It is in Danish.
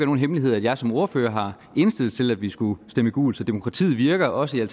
nogen hemmelighed at jeg som ordfører har indstillet til at vi skulle stemme gult så demokratiet virker også i